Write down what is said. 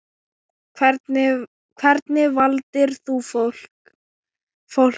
Hvernig valdir þú fólkið?